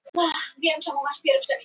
Mynd: Sveitarfélagið Árborg.